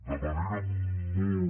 de manera molt